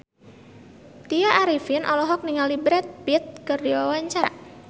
Tya Arifin olohok ningali Brad Pitt keur diwawancara